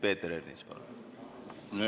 Peeter Ernits, palun!